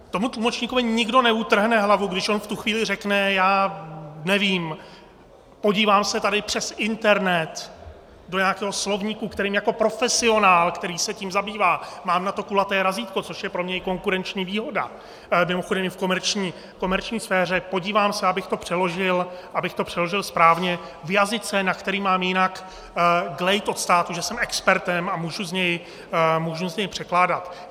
Tomu tlumočníkovi nikdo neutrhne hlavu, když on v tu chvíli řekne, já nevím, podívám se tady přes internet do nějakého slovníku, kterým jako profesionál, který se tím zabývá, mám na to kulaté razítko, což je pro mě i konkurenční výhoda, mimochodem i v komerční sféře, podívám se, abych to přeložil správně v jazyce, na který mám jinak glejt od státu, že jsem expertem a můžu z něj překládat.